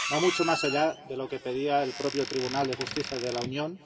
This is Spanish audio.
Va mucho más allá de lo que pedía el propio Tribunal de Justicia de la Unión